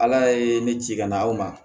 Ala ye ne ci ka na aw ma